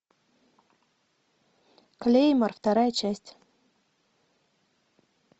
клеймор вторая часть